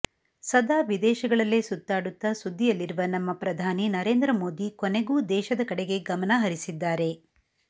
ಸದಾ ವಿದೇಶಗಳಲ್ಲೇ ಸುತ್ತಾಡುತ್ತಾ ಸುದ್ದಿಯಲ್ಲಿರುವ ನಮ್ಮ ಪ್ರಧಾನಿ ನರೇಂದ್ರ ಮೋದಿ ಕೊನೆಗೂ ದೇಶದ ಕಡೆಗೆ ಗಮನ ಹರಿಸಿದ್ದಾರೆ